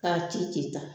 K'a ci k'i ta